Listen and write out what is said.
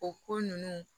O ko ninnu